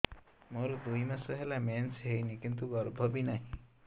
ମୋର ଦୁଇ ମାସ ହେଲା ମେନ୍ସ ହେଇନି କିନ୍ତୁ ଗର୍ଭ ବି ନାହିଁ